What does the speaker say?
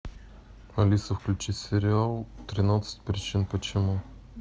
алиса включи сериал тринадцать причин почему